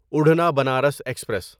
اڑھنا Banaras express